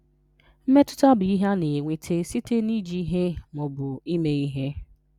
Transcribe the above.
Mmetụta bụ ihe a na-enweta site na iji ihe ma ọ bụ ime ihe.